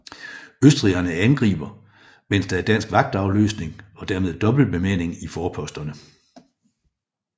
Østrigerne angriber medens der er dansk vagtafløsning og dermed dobbelt bemanding i forposterne